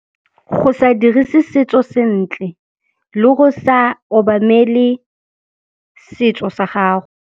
Go sa dirise setso sentle le go sa obamele setso sa gago.